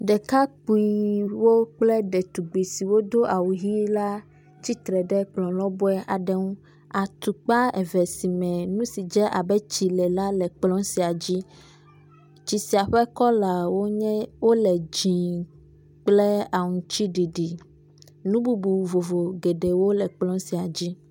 Ɖekakpuiwo kple ɖetugbui siwo do awu ʋɛ̃ la tsitre ɖe ekplɔ lɔbɔe aɖe ŋu. Atukpa eve si me nu si dze abe tsi ene la le kplɔ sia dzi. Tsi sia ƒe kɔlawo nye, wole dzɛ̃ kple aŋuti ɖiɖi. nu bubu vovovo geɖewo le kplɔ sia dzi.